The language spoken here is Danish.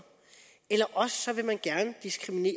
eller også vil man gerne diskriminere